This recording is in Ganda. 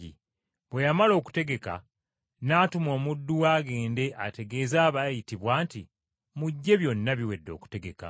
Bwe yamala okutegeka, n’atuma omuddu we agende ategeeze abaayitibwa nti, ‘Mujje byonna biwedde okutegeka.’